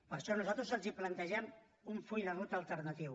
per això nosaltres els plantegem un full de ruta alternatiu